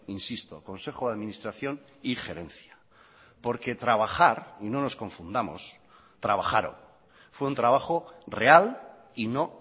insisto consejo de administración y gerencia porque trabajar y no nos confundamos trabajaron fue un trabajo real y no